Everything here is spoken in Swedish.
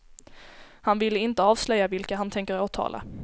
Han vill inte avslöja vilka han tänker åtala.